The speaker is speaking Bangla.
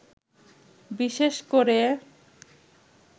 বিশেষ করে